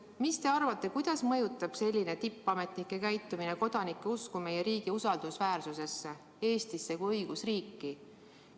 Mis te arvate, kuidas mõjutab selline tippametnike käitumine kodanike usku meie riigi usaldusväärsusesse, Eestisse kui õigusriiki?